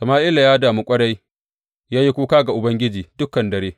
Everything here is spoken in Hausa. Sama’ila ya damu ƙwarai, ya yi kuka ga Ubangiji dukan dare.